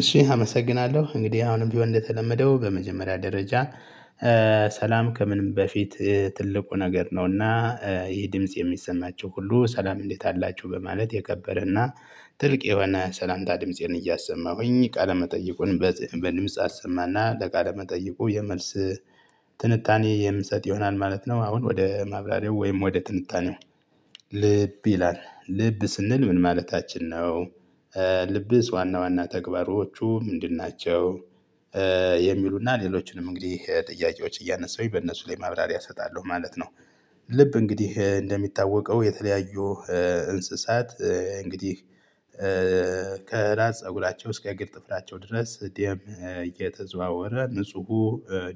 እሺ አመሰግናለሁ እንግዲህ አሁንም ቢሆን እንደተለመደው በመጀመሪያ ደረጃ። ሰላም ከምንም በፊት ትልቁ ነገር ነውና ይሄ ድምጽ የሚሰማቹህ ሁሉ ሰላም እንዴት አላችሁ? በማለት የከበረና ትልቅ የሆነ ሰላምታ ድምፄን እያሰማሁኝ ቃለመጠይቁን በድምጽ አሰማና ለቃለመጠይቁ የመልስ ትንታኔ የምሰጥ ይሆናል ማለት ነው። አሁን ወደ ማብራሪያው ወይም ወደ ትንታኔው። ልብ ይላል ልብ ስንል ምን ማለታችን ነው? ልብስ ዋና ዋና ተግባሮቹ ምንድን ናቸው? የሚሉና ሌሎችንም እንግዲህ ጥያቄዎች እያነሳሁኝ በእነሱ ላይ ማብራሪያ እሰጣለሁ ማለት ነው። ልብ እንግዲህ እንደሚታወቀው የተለያዩ እንስሳት እንግዲህ። ከራስ ፀጉላቸው እስከ እግር ጥፍላቸው ድረስ ደም እየተዘዋወረ ንፁሁ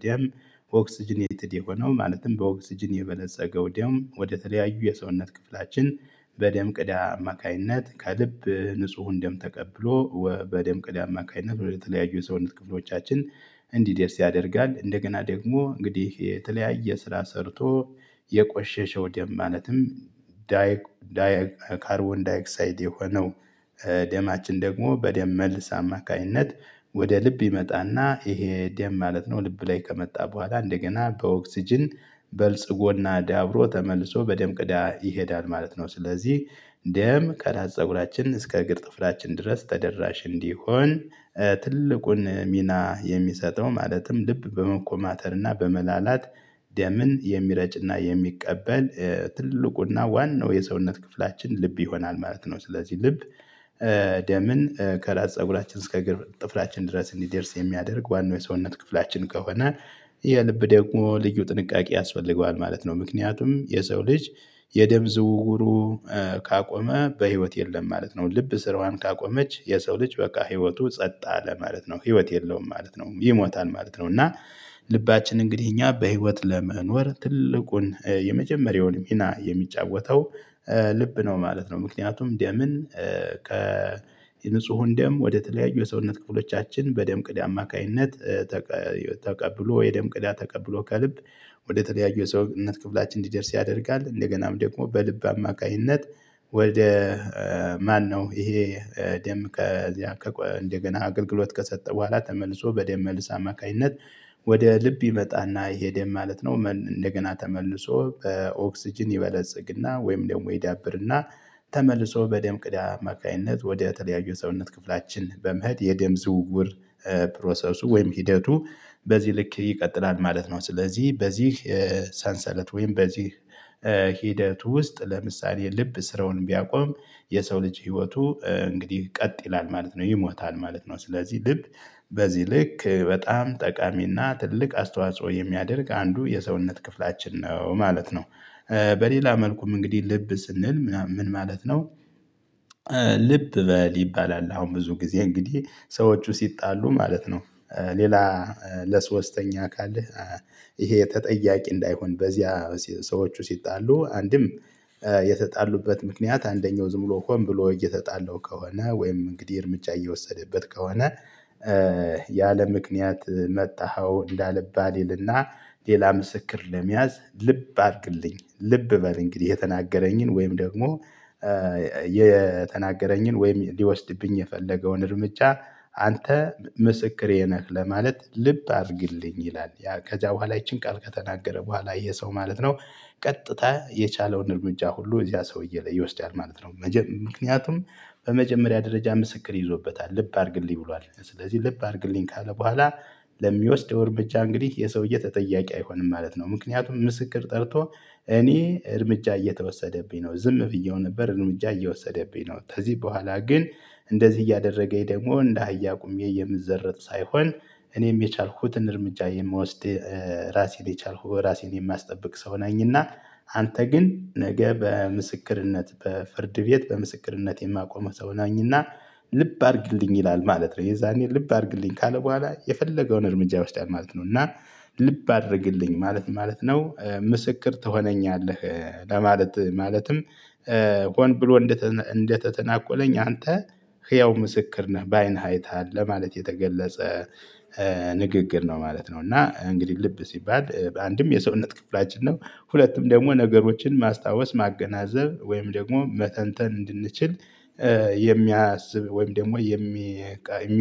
ደም ኦክስጅኔትድ የሆነው ማለትም በኦክስጅን የበለጸገው ደም ወደተለያዩ የሰውነት ክፍላችን በደም ቅዳ አማካኝነት ከልብ ንጹሁን ደም ተቀብሎ በደም ቅዳ አማካኝነት ወደተለያዩ የሰውነት ክፍሎቻችን እንዲደርስ ያደርጋል። እንደገና ደግሞ እንግዲህ የተለያየ ስራ ሰርቶ የቆሸሸው ደም ማለትም ዳይ ካርቦን ዳይክሳይድ የሆነው። ደማችን ደግሞ በደም መልስ አማካኝነት ወደ ልብ ይመጣና ይሄ ደም ማለት ነው ልብ ላይ ከመጣ በኋላ እንደገና በኦክስጅን በልጽጎና ዳብሮ ተመልሶ በደም ቅዳ ይሄዳል ማለት ነው። ስለዚህ ደም ከራስ ፀጉራችን እስከ እግር ጥፍላችን ድረስ ተደራሽ እንዲሆን። ትልቁን ሚና የሚሰጠው ማለትም ልብ በመኮማተርና በመላላት ደምን የሚረጭና የሚቀበል ትልቁና ዋናው የሰውነት ክፍላችን ልብ ይሆናል ማለት ነው። ስለዚህ ልብ ደምን ከራስ ፀጉራችን እስከ እግር ጥፍራችን ድረስ እንዲደርስ የሚያደርግ ዋናው የሰውነት ክፍላችን ከሆነ የልብ ደግሞ ልዩ ጥንቃቄ ያስፈልገዋል ማለት ነው። ምክንያቱም የሰው ልጅ የደም ዝውውሩ ካቆመ በህይወት የለም ማለት ነው። ልብ ስራዋን ካቆመች የሰው ልጅ በቃ ህይወቱ ጸጥ አለ ማለት ነው ህይወት የለውም ማለት ነው ይሞታል ማለት ነው። እና ልባችን እንግዲህ እኛ በህይወት ለመኖር ትልቁን የመጀመሪያውን ሚና የሚጫወተው ልብ ነው ማለት ነው። ምክንያቱም ደምን ከ የንጹህን ደም ወደተለያዩ የሰውነት ክፍሎቻችን በደም ቅዳ አማካኝነት ተቀብሎ የደም ቅዳ ተቀብሎ ከልብ ወደተለያዩ የሰውነት ክፍላችን እንዲደርስ ያደርጋል። እንደገናም ደግሞ በልብ አማካኝነት ወደ ማነው ይሄ ደም እንደገና አገልግሎት ከሰጠ በኋላ ተመልሶ በደም መልስ አማካኝነት ወደ ልብ ይመጣና ይሄ ደም ማለት ነው እንደገና ተመልሶ በኦክስጅን ይበለጽግና ወይም ደግሞ ይዳብርና ተመልሶ በደም ቅዳ አማካኝነት ወደ ተለያዩ የሰውነት ክፍላችን በመሄድ የደም ዝውውር ፕሮሰሱ ወይም ሂደቱ በዚህ ልክ ይቀጥላል ማለት ነው። ስለዚህ በዚህ ሰንሰለት ወይም በዚህ ሂደቱ ውስጥ ለምሳሌ ልብ ስራውን ቢያቆም የሰው ልጅ ህይወቱ እንግዲህ ቀጥ ይላል ማለት ነው ይሞታል ማለት ነው። ስለዚህ ልብ በዚህ ልክ በጣም ጠቃሚና ትልቅ አስተዋጽኦ የሚያደርግ አንዱ የሰውነት ክፍላችን ነው ማለት ነው። በሌላ መልኩም እንግዲህ ልብ ስንል ምን ማለት ነው? ልብ በል ይባላል አሁን ብዙ ጊዜ እንግዲህ ሰዎቹ ሲጣሉ ማለት ነው። ሌላ ለሶስተኛ አካል ይሄ ተጠያቂ እንዳይሆን በዚያ ሰዎች ሲጣሉ አንድም የተጣሉበት ምክንያት አንደኛው ዝም ብሎ ሆን ብሎ እየተጣለው ከሆነ ወይም እንግዲህ እርምጃ እየወሰደበት ከሆነ። ያለምክንያት መታሀው እንዳልባል ይልና ሌላ ምስክር ለመያዝ ልብ አድርግልኝ ልብ በል እንግዲህ የተናገረኝን ወይም ደግሞ የተናገረኝን ወይም ሊወስድብኝ የፈለገውን እርምጃ አንተ ምስክሬ ነህ ለማለት ልብ አድርግልኝ ይላል ያ ከዚያ በኋላ ይቺን ቃል ከተናገረ በኋላ የ ይሄ ሰው ማለት ነው። ቀጥታ የቻለውን እርምጃ ሁሉ እዚያ ሰውዬ ላይ ይወስዳል ማለት ነው። ምክንያቱም በመጀመሪያ ደረጃ ምስክር ይዞበታል ልብ አድርግልኝ ብሏል ስለዚህ ልብ አድርግልኝ ካለ በኋላ ለሚወስደው እርምጃ እንግዲህ ይህ ሰውዬ ተጠያቂ አይሆንም ማለት ነው። ምክንያቱም ምስክር ጠርቶ እኔ እርምጃ እየተወሰደብኝ ነው ዝም ብየው ነበር እርምጃ እየወሰደብኝ ነው ከዚህ በኋላ ግን እንደዚህ እያደረገኝ ደግሞ እንደ አህያ ቆሜ የምዘረጥ ሳይሆን እኔም የቻልኩትን እርምጃ የምወስድ። ራሴን የቻልኩ ራሴን የማያስጠብቅ ሰው ነኝና። አንተ ግን ነገ በምስክርነት በፍርድ ቤት በምስክርነት የማቆምህ ሰው ነኝና። ልብ አድርግልኝ ይላል ማለት ነው። የዛኔ ልብ አድርግልኝ ካለ በኋላ የፈለገውን እርምጃ ይወስዳል ማለት ነው። እና ልብ አድርግልኝ ማለት ምን ማለት ነው? ምስክር ትሆነኛለህ። ለማለት ማለትም ሆን ብሎ እንደተተናኮለኝ አንተ ህያው ምስክር ነህ በአይንህ አይተሀል ለማለት የተገለጸ ንግግር ነው ማለት ነው። እና እንግዲህ ልብ ሲባል በአንድም የሰውነት ክፍላችን ነው። ሁለትም ደግሞ ነገሮችን ማስታወስ ማገናዘብ ወይም ደግሞ መተንተን እንድንችል የሚያስብ ወይም ደግሞ የሚ